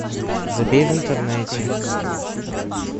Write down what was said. забей в интернете